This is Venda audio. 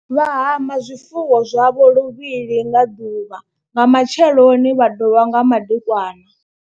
Vha hama zwifuwo zwavho luvhili nga ḓuvha nga matsheloni vha dovha nga madekwana.